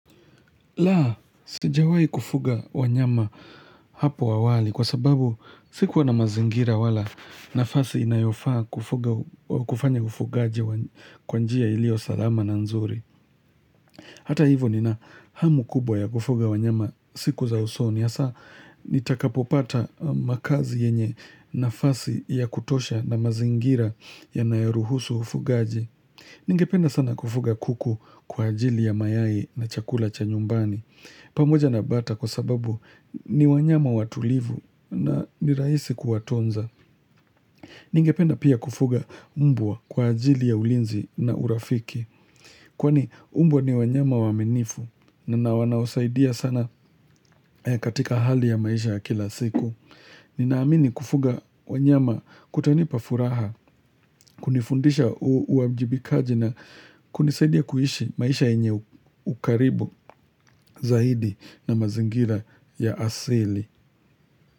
Laa, sijawai kufuga wanyama hapo awali kwa sababu siku wana mazingira wala nafasi inayofaa kufanya ufugaji kwanjia ilio salama na nzuri. Hata hivo nina hamu kubwa ya kufuga wanyama siku za usoni. Asa nitakapopata makazi yenye nafasi ya kutosha na mazingira ya nayeruhusu ufugaji. Ninge penda sana kufuga kuku kwa ajili ya mayai na chakula cha nyumbani. Pamoja na bata kwa sababu ni wanyama watulivu na ni raisi kuwa tonza. Ningependa pia kufuga mbwa kwa ajili ya ulinzi na urafiki. Kwani mbwa ni wanyama waamenifu na na wanaosaidia sana katika hali ya maisha kila siku. Ninaamini kufuga wanyama kutani pa furaha, kunifundisha uwa mjibikaji na kunisaidia kuishi maisha enye ukaribu zaidi na mazingira ya asili.